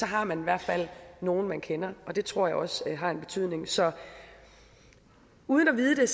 har man i hvert fald nogen man kender og det tror jeg også har en betydning så uden at vide